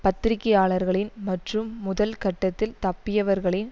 பத்திரிகையாளர்களின் மற்றும் முதல் கட்டத்தில் தப்பியவர்களின்